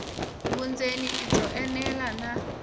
vundzeni i byo enela na